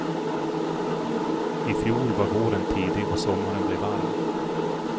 I fjol var våren tidig och sommaren blev varm.